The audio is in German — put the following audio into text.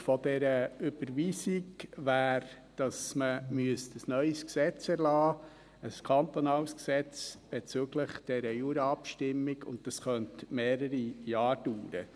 Die Folge dieser Überweisung wäre, dass man ein neues Gesetz erlassen müsste, ein kantonales Gesetz bezüglich der Juraabstimmung, und das könnte mehrere Jahre dauern.